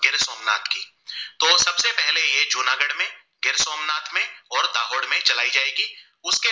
दाहोद में चलाई जाएगी उसके